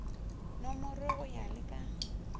nomorwe go ya le ka